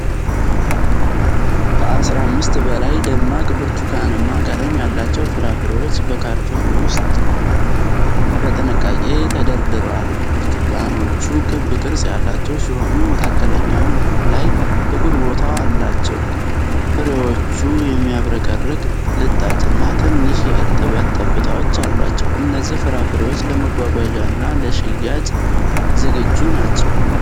ከ15 በላይ ደማቅ ብርቱካንማ ቀለም ያላቸው ፍራፍሬዎች በካርቶን ሣጥን ውስጥ በጥንቃቄ ተደርድረዋል። ብርቱካኖቹ ክብ ቅርጽ ያላቸው ሲሆኑ፣ መካከለኛው ላይ ጥቁር ቦታ አላቸው። ፍሬዎቹ የሚያብረቀርቅ ልጣጭና ትንሽ የእርጥበት ጠብታዎች አሏቸው። እነዚህ ፍራፍሬዎች ለመጓጓዣና ለሽያጭ ዝግጁ ናቸው።